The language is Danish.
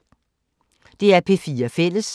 DR P4 Fælles